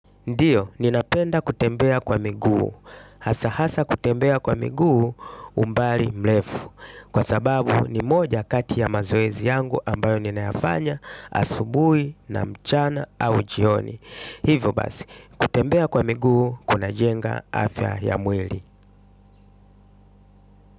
Ndiyo, ninapenda kutembea kwa miguu, hasa hasa kutembea kwa miguu umbali mrefu, kwa sababu ni moja kati ya mazoezi yangu ambayo ninayafanya asubuhi, mchana au jioni. Hivyo basi, kutembea kwa miguu kunajenga afya ya mwili.